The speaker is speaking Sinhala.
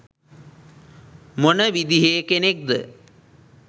මොන විදිහේ කෙනෙක්ද?